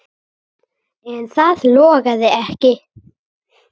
En það logaði ekki.